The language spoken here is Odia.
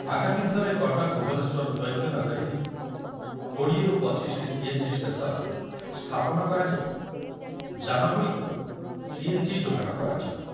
ଆଗାମୀ ଦିନରେ କଟକ ଭୁବନେଶ୍ୱର ଦ୍ୱୈତନଗରୀରେ କୋଡ଼ିଏ ରୁ ପଚିଶଟି ସିଏନ୍‌ଜି ଷ୍ଟେସନ୍‌ ସ୍ଥାପନ କରାଯାଇ ଯାନଗୁଡ଼ିକୁ ସିଏନ୍‌ଜି ଯୋଗାଣ କରାଯିବ।